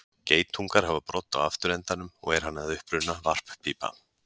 Geitungar hafa brodd á afturendanum og er hann að uppruna varppípa.